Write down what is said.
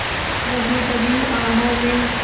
दबी दबी आहों में